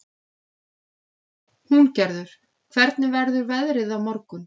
Húngerður, hvernig verður veðrið á morgun?